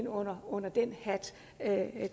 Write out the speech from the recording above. og og